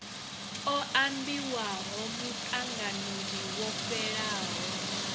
o ambiwaho muṱanganoni wo fhelaho